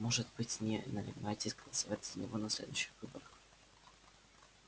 может быть вы намереваетесь голосовать за него на следующих выборах